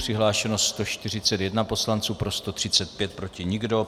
Přihlášeno 141 poslanců, pro 135, proti nikdo.